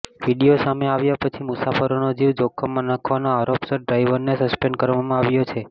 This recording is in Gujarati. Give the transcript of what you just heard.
વીડિયો સામે આવ્યા પછી મુસાફરોનો જીવ જોખમમાં નાખવાના આરોપસર ડ્રાઈવરને સસ્પેન્ડ કરવામાં આવ્યો છે